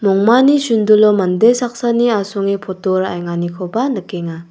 mongmani sundulo mande saksani asonge poto ra·enganikoba nikenga.